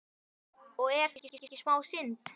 Og er það ekki smá synd?